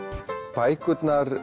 bækurnar